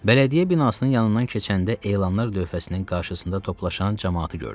Bələdiyyə binasının yanından keçəndə elanlar lövhəsinin qarşısında toplaşan camaatı gördüm.